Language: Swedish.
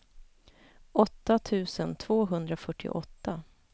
åtta tusen tvåhundrafyrtioåtta